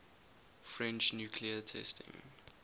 french nuclear testing